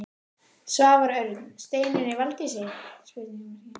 Svavar Örn: Steinunni Valdísi?